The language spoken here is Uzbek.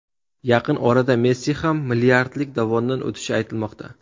Yaqin orada Messi ham milliardlik dovondan o‘tishi aytilmoqda.